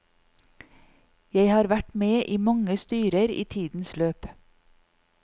Jeg har vært med i mange styrer i tidens løp.